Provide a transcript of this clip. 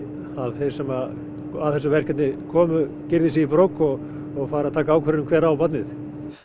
þeir sem að þessu verkefni komu girði sig í brók og og fari að taka ákvörðun um hver á barnið